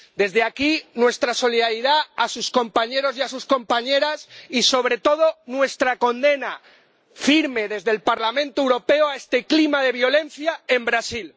Desde aquí, nuestra solidaridad a sus compañeros y a sus compañeras y, sobre todo, nuestra condena, firme, desde el Parlamento Europeo, a este clima de violencia en Brasil.